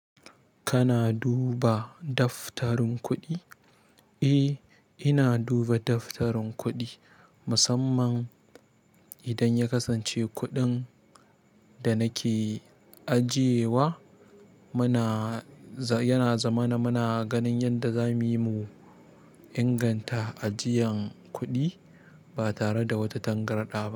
Kana duba daftarin kuɗi? Eh, ina duba daftarin kuɗi musamman idan ya kasance kuɗin da nake ajiye wa. Muna, yana zama na muna ganin yadda za mu yi mu inganta ajiyan kuɗi ba tare da wata tangarɗa ba.